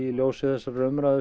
ljósi þessarar umræðu